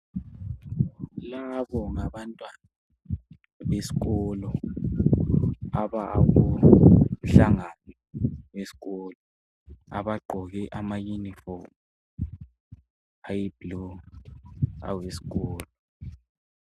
Labo ngabantwana beskolo. Abakumhlangano weskolo. Abagqoke amauniform, ayiblue, aweskolo.